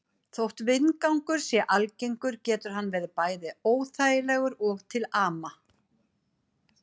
Þótt vindgangur sé algengur getur hann verið bæði óþægilegur og til ama.